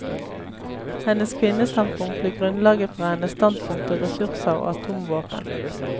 Hennes kvinnestandpunkt blir grunnlaget for hennes standpunkt til ressurser og atomvåpen.